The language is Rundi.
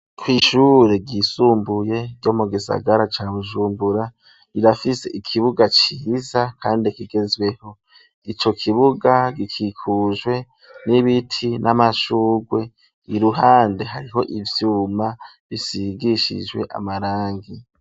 Kw'ishure ryisumbuye ryo mu gisagara ca Bujumbura rirafise ikibuga ciza kandi kigezweho ico kibuga gikikujwe n'ibiti n'amashugwe iruhande hariho ivyuma bisigishijwe amarangi.